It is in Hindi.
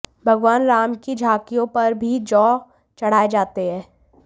भगवान राम की झाँकियों पर भी जौ चढा़ए जाते हैं